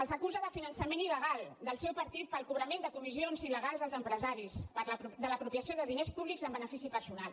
els acu·sa de finançament il·legal del seu partit pel cobrament de comissions il·legals als empresaris de l’apropiació de diners públics en benefici personal